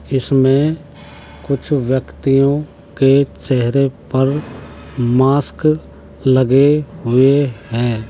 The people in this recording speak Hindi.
इसमे कुछ व्यक्तियों के चेहरे पर मास्क लगे हुए हैं।